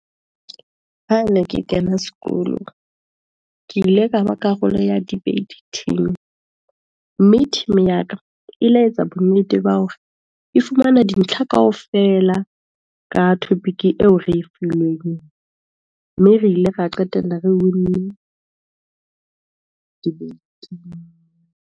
Ha ne ke kena sekolo, ke ile ka ba karolo ya debate team, mme team ya ka e le etsa bonnete ba hore, e fumana dintlha kaofela, ka topic eo re e filweng, mme re ile ra qetella re win-ne debate-ing.